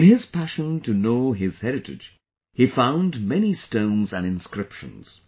In his passion to know his heritage, he found many stones and inscriptions